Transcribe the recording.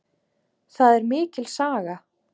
Það er mikil saga.